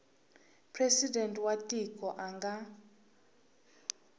presidente wa tiko a nga